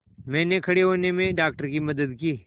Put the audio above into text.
मैंने खड़े होने में डॉक्टर की मदद की